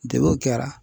Degunw kɛra